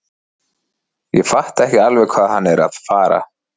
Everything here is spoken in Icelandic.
Ég fatta ekki alveg hvað hann er að fara.